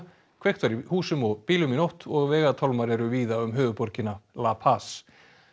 kveikt var í húsum og bílum í nótt og vegatálmar eru víða um höfuðborgina la Paz